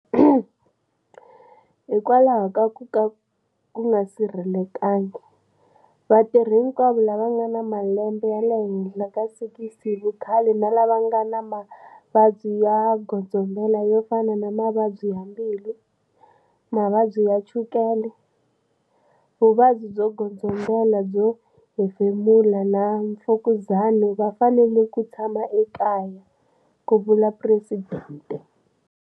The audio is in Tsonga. Hikokwalaho ka ku nga sirhelelekangi, vatirhi hikwavo lava va nga na malembe ya le henhla ka 60 hi vukhale na lava va nga na mavabyi yo godzombela yo fana na mavabyi bya mbilu, mavabyi bya chukela, vuvabyi byo godzombela byo hefemula na mfukuzana va fanele ku tshama ekaya, ku vula Phuresidente.